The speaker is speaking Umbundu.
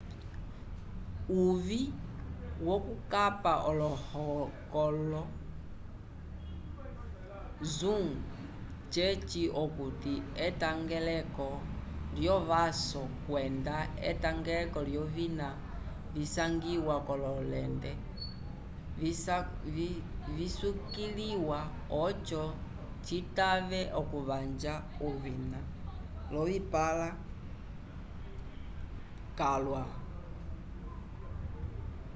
uvĩ wokukapa olohokolo zoom ceci okuti etangeleko lyovaso kwenda etendelo lyovina visangiwa k'ololente visukiliwa oco citave okuvanja ovina l'ocipãla calwa